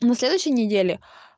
на следующей неделе